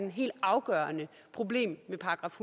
et helt afgørende problem med §